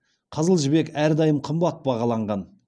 қызыл жібек әрдайым қымбат бағаланған